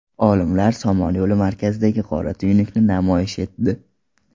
Olimlar Somon yo‘li markazidagi qora tuynukni namoyish etdi.